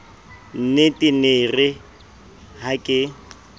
nnetee nee yeere ha ke